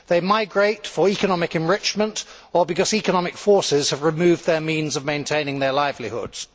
They migrate for economic enrichment or because economic forces have removed their means of maintaining their livelihoods.